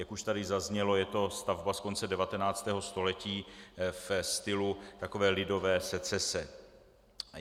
Jak už tady zaznělo, je to stavba z konce 19. století ve stylu takové lidové secese.